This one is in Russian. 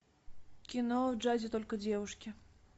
кино в джазе только девушки